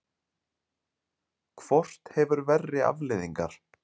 Hvort hefur verri afleiðingar?